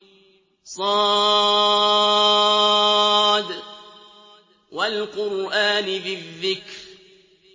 ص ۚ وَالْقُرْآنِ ذِي الذِّكْرِ